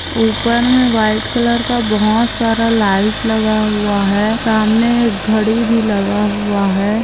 ऊपर में white colour का बहोत सारा लाइट लगा हुआ है सामने एक घड़ी भी लगा हुआ है